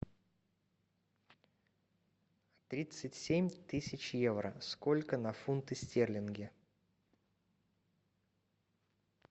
тридцать семь тысяч евро сколько на фунты стерлинги